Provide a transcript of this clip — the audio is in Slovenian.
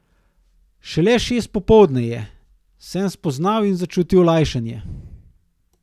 Šele šest popoldne je, sem spoznal in začutil olajšanje.